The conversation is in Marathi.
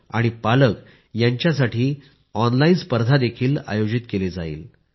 यात 9वी ते 12वी चे विद्यार्थी शिक्षक आणि पालक यांच्यासाठी ऑनलाईन स्पर्धा देखील आयोजित केली जाईल